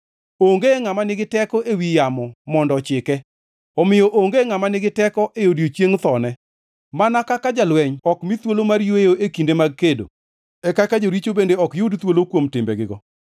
Onge ngʼama nigi teko ewi yamo mondo ochike, omiyo onge ngʼama nigi teko e odiechieng thone. Mana kaka jalweny ok mi thuolo mar yweyo e kinde mag kedo, e kaka joricho bende ok yud thuolo kuom timbegigo.